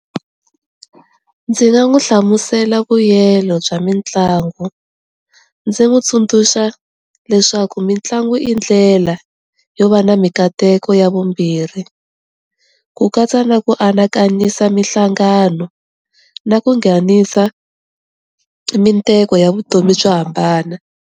Ndzi nga n'wi hlamusela vuyelo bya mitlangu, ndzi n'wi tsundzuxa leswaku mitlangu i ndlela yo va na mikateko ya vumbirhi ku katsa na ku anakanyisa mihlangano na ku nghenisa ya vutomi byo hambana.